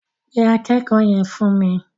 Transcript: Pe akẹ́kọ̀ọ́ yẹn fún mi.